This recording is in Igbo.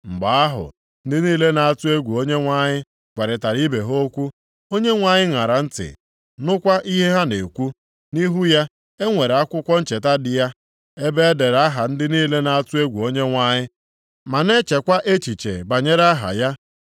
Mgbe ahụ, ndị niile na-atụ egwu Onyenwe anyị gwarịtara ibe ha okwu, Onyenwe anyị ṅara ntị, nụkwa ihe ha na-ekwu. Nʼihu ya, e nwere akwụkwọ ncheta dị ya, ebe e dere aha ndị niile na-atụ egwu Onyenwe anyị, ma na-echekwa echiche banyere aha ya.